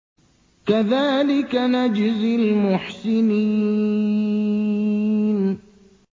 كَذَٰلِكَ نَجْزِي الْمُحْسِنِينَ